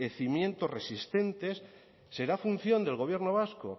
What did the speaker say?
cimientos resistentes será función del gobierno vasco